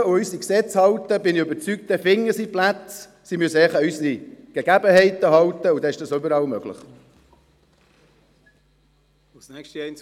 Wenn sie sich daran halten und sich an unsere Gesetze halten, finden sie Plätze, davon bin ich überzeugt.